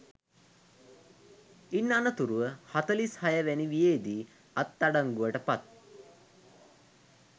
ඉන් අනතුරුව හතලිස් හය වැනි වියේදී අත් අඩංගුවට පත්